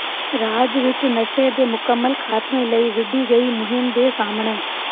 ਰਾਜ ਵਿੱਚ ਨਸ਼ੇ ਦੇ ਮੁਕੰਮਲ ਖਾਤਮੇ ਲਈ ਵਿੱਢੀ ਗਈ ਮੁਹਿੰਮ ਦੇ ਸਾਹਮਣੇ